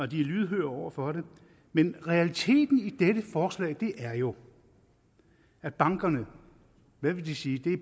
de er lydhøre over for dem men realiteten i dette forslag er jo at bankernes kunder og hvad vil de sige